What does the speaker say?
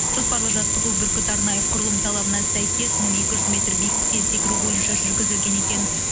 жоспарлы жаттығу бүркіт арнайы құрылымының талабына сәйкес мың екі жүз метр биіктіктен секіру бойынша жүргізілген екен